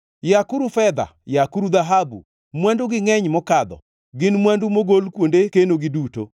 Yakuru fedha! Yakuru dhahabu! Mwandugi ngʼeny mokadho, gin mwandu mogol kuonde kenogi duto.